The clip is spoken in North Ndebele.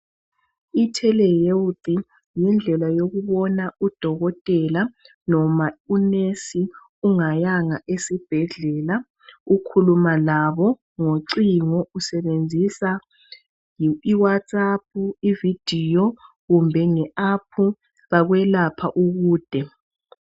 ITelhelb, yindlela yokubona udokotela, kumbe unesi ungayanga waya esibhedlela. Ukhuluma abo ngocingo. Usebenzisa iwhatsapp, ivideo, kumbe nge App. Bakulapha ukude.